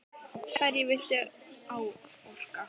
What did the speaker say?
Hverju viltu áorka?